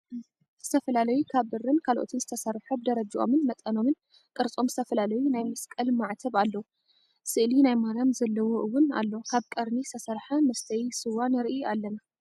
ዝተፈላለዩ ካብ ብርን ካልኦትን ዝተሰርሑ ብደረጅኦምን መጠኖምን፣ ቅርፆም ዝተፈላለዩ ናይ መስቀል ማዕተብ ኣለዉ ስእሊ ናይ ማርያም ዘለዎ እውን ኣሎ ካብ ቀርኒ ዝተሰርሐ መስተይ ስዋ ንርኢ ኣለና።